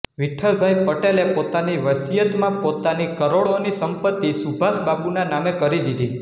વિઠ્ઠલભાઈ પટેલે પોતાની વસિયતમાં પોતાની કરોડોની સંપત્તિ સુભાષબાબુના નામે કરી દીધી